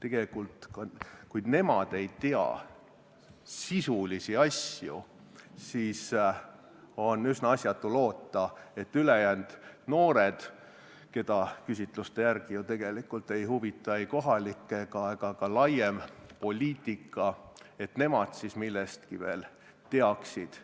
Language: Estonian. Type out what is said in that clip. tegelikult ei tea sisulisi asju, siis on üsna asjatu loota, et ülejäänud noored – nemad, keda küsitluste järgi tegelikult ei huvita ei kohalik ega ka laiem poliitika – üldse midagi teavad.